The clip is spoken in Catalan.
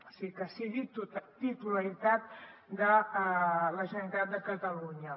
és a dir que sigui titularitat de la generalitat de catalunya